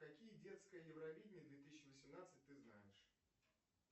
какие детское евровидение две тысячи восемнадцать ты знаешь